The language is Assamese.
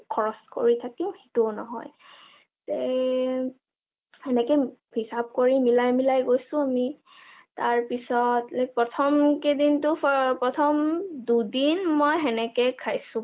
খৰচ কৰি থাকিম সেইটো নহয়, এএ হেনেকে হিচাপ কৰি মিলাই মিলাই গৈছো আমি, তাৰপিছত like প্ৰথম কেইদিনটো প্ৰথম দুদিন মই হেনেকে খাইছো ,